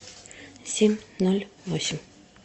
семь ноль восемь